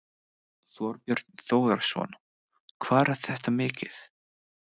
Þorbjörn Þórðarson: Hvað er þetta mikið?